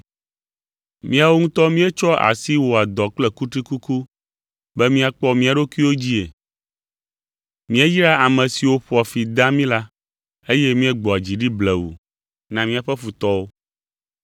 Míawo ŋutɔ míetsɔa asi wɔa dɔ kple kutrikuku be míakpɔ mía ɖokuiwo dzii. Míeyraa ame siwo ƒoa fi dea mí la, eye míegbɔa dzi ɖi blewu na míaƒe futɔwo.